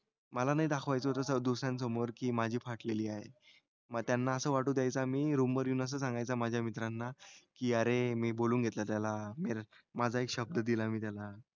मला नाही दाखवायचं होतं दुसऱ्यांसमोर की माझी फाटलेली आहे. मग त्यांना असं वाटू द्यायचा मी रूमवर येऊन असं सांगायचा माझ्या मित्रांना की अरे मी बोलून घेतलं त्याला. मी माझा एक शब्द दिलाय मी त्यांना.